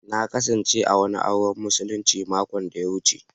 Na kasance a wani auren musulinci makon da ya wuce.